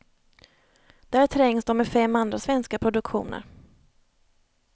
Där trängs de med fem andra svenska produktioner.